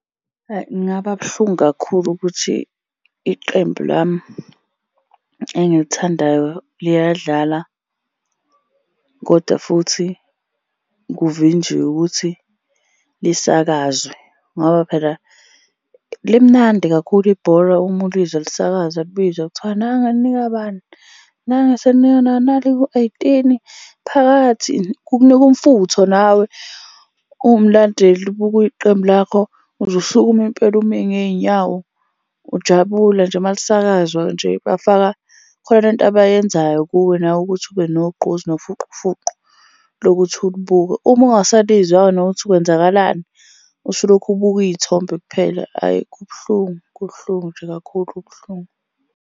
Kungaba buhlungu kakhulu ukuthi iqembu lami engilithandayo liyadlala, kodwa futhi kuvinjwe ukuthi lisakazwe, ngoba phela limnandi kakhulu ibhola uma ulizwa lisakazwa libizwa kuthiwa, nangu elinika bani. Nangu eselinika nali ku-eighteen, phakathi. Kukunika umfutho nawe uwumlandeli ubuka iqembu lakho. Uze usukume impela ume ngey'nyawo, ujabula nje uma lisakazwa nje, bafaka, khona le nto abayenzayo kuwe, nawe ukuthi ube nogqozi nofuqufuqu lokuthi ulibuke. Uma ungasalizwa-ke nokuthi kwenzakalani, usulokhu ubuka iy'thombe kuphela, ayi kubuhlungu kubuhlungu nje kakhulu kubuhlungu.